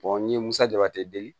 n ye musajate di